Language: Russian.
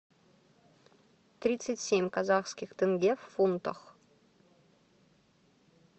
тридцать семь казахских тенге в фунтах